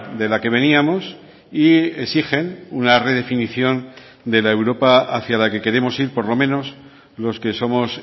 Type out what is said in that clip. de la que veníamos y exigen una redefinición de la europa hacia la que queremos ir por lo menos los que somos